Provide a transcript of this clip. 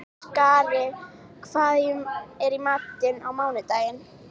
Skari, hvað er í matinn á mánudaginn?